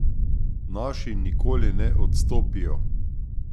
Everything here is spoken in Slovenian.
Naši nikoli ne odstopijo!